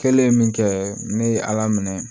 Kɛlen min kɛ ne ye ala minɛ